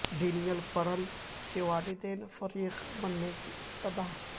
Daniel Pearl کے والدین کے فریق بننے کی استدعا